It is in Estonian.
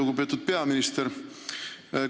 Lugupeetud peaminister!